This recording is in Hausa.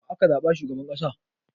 Wa aka zaɓa shugaban ƙasa?